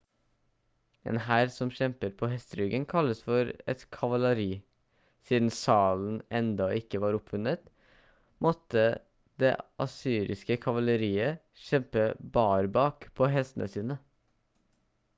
en hær som kjemper på hesteryggen kalles for et kavaleri siden salen enda ikke var oppfunnet måtte det assyriske kavaleriet kjempe barbak på hestene sine